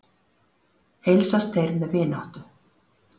Heilsast þeir með vináttu.